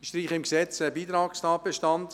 Im Gesetz streichen wir einen Beitragstatbestand: